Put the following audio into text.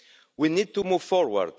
We need to move forward.